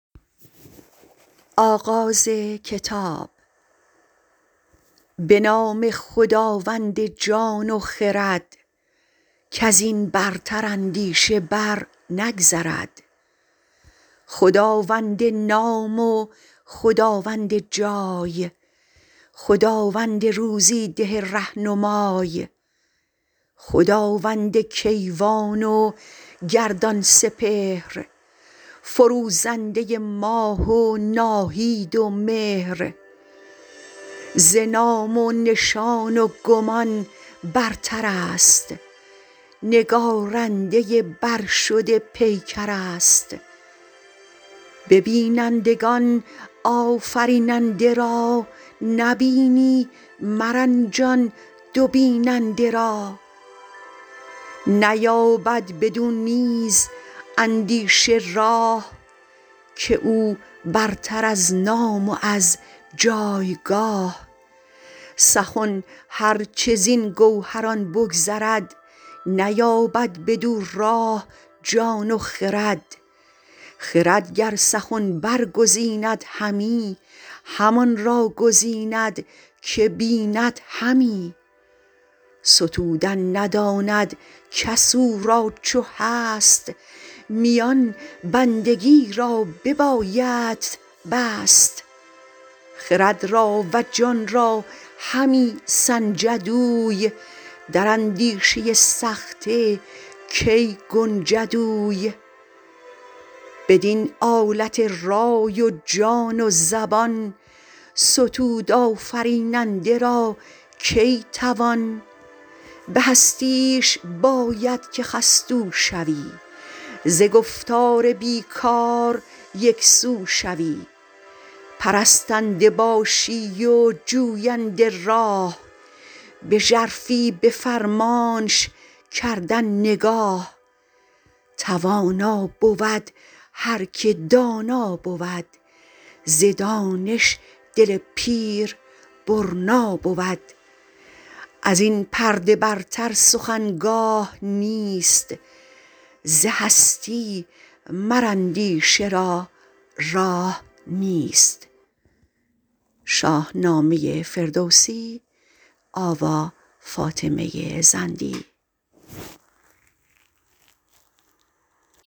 به نام خداوند جان و خرد کز این برتر اندیشه بر نگذرد خداوند نام و خداوند جای خداوند روزی ده رهنمای خداوند کیوان و گردان سپهر فروزنده ماه و ناهید و مهر ز نام و نشان و گمان برتر است نگارنده برشده پیکر است به بینندگان آفریننده را نبینی مرنجان دو بیننده را نیابد بدو نیز اندیشه راه که او برتر از نام و از جایگاه سخن هر چه زین گوهران بگذرد نیابد بدو راه جان و خرد خرد گر سخن برگزیند همی همان را گزیند که بیند همی ستودن نداند کس او را چو هست میان بندگی را ببایدت بست خرد را و جان را همی سنجد اوی در اندیشه سخته کی گنجد اوی بدین آلت رای و جان و زبان ستود آفریننده را کی توان به هستیش باید که خستو شوی ز گفتار بی کار یکسو شوی پرستنده باشی و جوینده راه به ژرفی به فرمانش کردن نگاه توانا بود هر که دانا بود ز دانش دل پیر برنا بود از این پرده برتر سخن گاه نیست ز هستی مر اندیشه را راه نیست